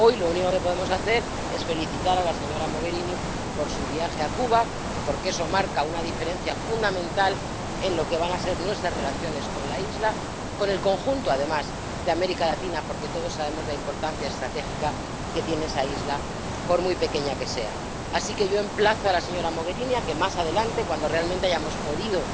Hoy lo único que podemos hacer es felicitar a la señora Mogherini por su viaje a Cuba, porque eso marca una diferencia fundamental en lo que van a ser nuestras relaciones con la isla, con el conjunto, además, de América Latina, porque todos sabemos la importancia estratégica que tiene esa isla por muy pequeña que sea. Así que yo emplazo a la señora Mogherini a que más adelante, cuando realmente hayamos podido